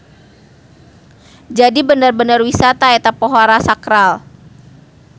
Jadi bener-bener wisata eta pohara sakral.